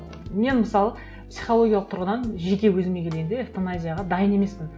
ы мен мысалы психологиялық тұрғыдан жеке өзіме келгенде эвтаназияға дайын емеспін